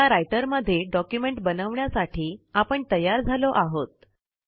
आता रायटर मध्ये डॉक्युमेंट बनवण्याठी आपण तयार झालो आहोत